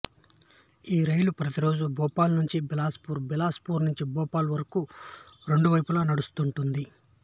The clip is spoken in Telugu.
ఈ రైలు ప్రతిరోజు భోపాల్ నుంచి బిలాస్ పూర్ బిలాస్ పూర్ నుంచి భోపాల్ వరకు రెండు వైపుల నడుస్తుంటుంది